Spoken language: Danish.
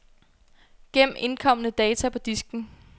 Gem indkomne data på disken.